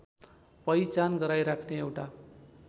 पहिचान गराइराख्ने एउटा